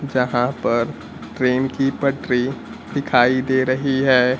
जहां पर ट्रेन की पटरी दिखाई दे रही है।